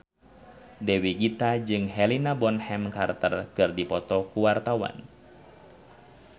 Dewi Gita jeung Helena Bonham Carter keur dipoto ku wartawan